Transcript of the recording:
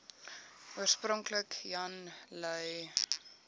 oorspronklik jan lui